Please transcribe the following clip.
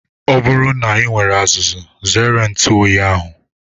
Ọ bụrụ na I nwere azuzu zere ntụ oyi ahụ.